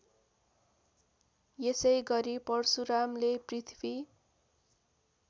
यसैगरी परशुरामले पृथ्वी